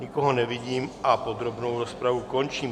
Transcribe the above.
Nikoho nevidím a podrobnou rozpravu končím.